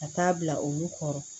Ka taa bila olu kɔrɔ